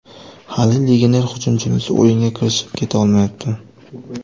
Hali legioner hujumchimiz o‘yinga kirishib keta olmayapti.